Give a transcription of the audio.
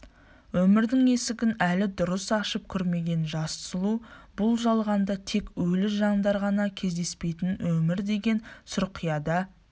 өмірдің есігін әлі дұрыс ашып көрмеген жас сұлу бұл жалғанда тек өлі жандар ғана кездеспейтінін өмір деген сұрқияда